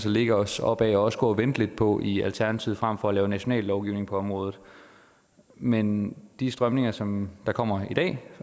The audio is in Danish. at lægge os op ad og også gå og vente lidt på i alternativet frem for at lave national lovgivning på området men de strømninger som kommer i dag